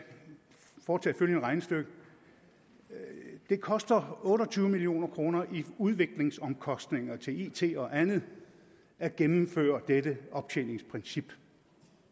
foretage følgende regnestykke det koster otte og tyve million kroner i udviklingsomkostninger til it og andet at gennemføre dette optjeningsprincip